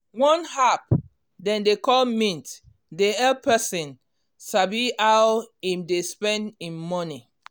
one app dem dey call mint dey help person sabi how him dey spend him money.